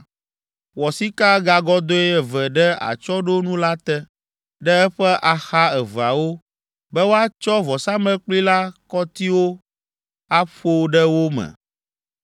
Wɔ sikagagɔdɔ̃e eve ɖe atsyɔ̃ɖonu la te, ɖe eƒe axa eveawo, be woatsɔ vɔsamlekpui la kɔtiwo aƒo ɖe wo me.